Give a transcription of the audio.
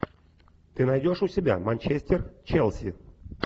ты найдешь у себя манчестер челси